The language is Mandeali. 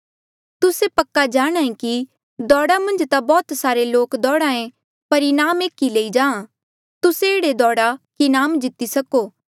तुस्से पक्का जाणांहे कि दौड़ा मन्झ ता बौह्त सारे लोक दौड़हा ऐें पर इनाम एक ई लई जाहाँ तुस्से एह्ड़े दौड़ा कि इनाम जीती सको